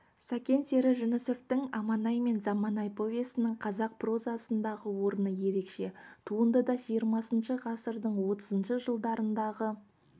сәкен сері жүнісовтің аманай мен заманай повесінің қазақ прозасындағы орны ерекше туындыда жиырмасыншы ғасырдың отызыншы жылдарындағы